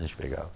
A gente pegava.